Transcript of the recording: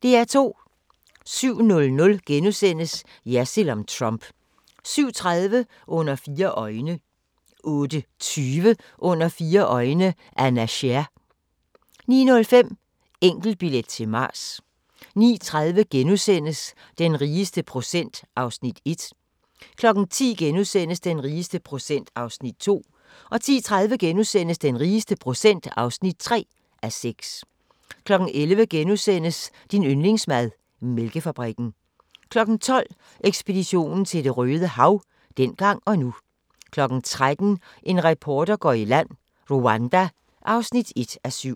07:00: Jersild om Trump * 07:30: Under fire øjne 08:20: Under fire øjne – Anna Sher 09:05: Enkeltbillet til Mars 09:30: Den rigeste procent (1:6)* 10:00: Den rigeste procent (2:6)* 10:30: Den rigeste procent (3:6)* 11:00: Din yndlingsmad: Mælkefabrikken * 12:00: Ekspedition til Det røde Hav – dengang og nu 13:00: En reporter går i land: Rwanda (1:7)